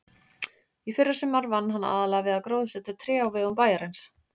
Í fyrrasumar vann hann aðallega við að gróðursetja tré á vegum bæjarins.